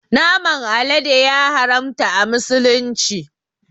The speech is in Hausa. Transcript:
Naman alade ya haramta a musulunci